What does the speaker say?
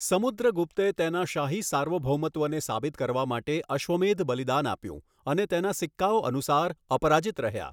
સમુદ્રગુપ્તે તેના શાહી સાર્વભૌમત્વને સાબિત કરવા માટે અશ્વમેધ બલિદાન આપ્યું અને તેના સિક્કાઓ અનુસાર, અપરાજિત રહ્યા.